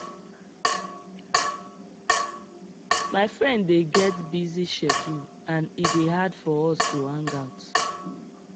my friend dey get busy schedule and e dey hard for us to hang out